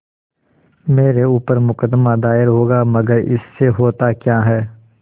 मेरे ऊपर मुकदमा दायर होगा मगर इससे होता क्या है